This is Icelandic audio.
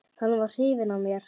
Hann var hrifinn af mér.